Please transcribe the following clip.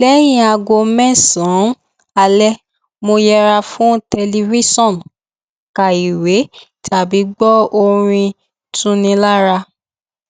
lẹyìn aago mẹsànán alẹ mo yẹra fún tẹlifíṣọn ka ìwé tàbí gbọ orin tuni lára